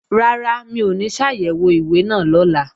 Rárá, mi ò ní ṣàyẹ̀wò ìwé náà lọ́la